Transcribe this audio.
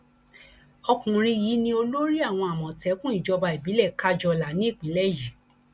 ọkùnrin yìí ni olórí àwọn àmọtẹkùn ìjọba ìbílẹ kájọlà ní ìpínlẹ yìí